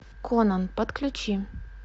конон подключи